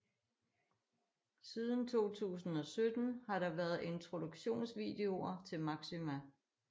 Siden 2017 har der været introduktionsvideoer til Maxima